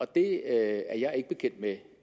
det er jeg ikke bekendt med